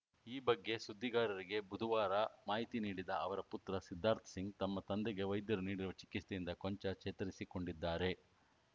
ಈ ಬಗ್ಗೆ ಸುದ್ದಿಗಾರರಿಗೆ ಬುಧವಾರ ಮಾಹಿತಿ ನೀಡಿದ ಅವರ ಪುತ್ರ ಸಿದ್ಧಾರ್ಥ ಸಿಂಗ್‌ ತಮ್ಮ ತಂದೆಗೆ ವೈದ್ಯರು ನೀಡಿರುವ ಚಿಕಿತ್ಸೆಯಿಂದ ಕೊಂಚ ಚೇತರಿಸಿಕೊಂಡಿದ್ದಾರೆ